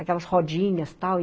Aquelas rodinhas, tal.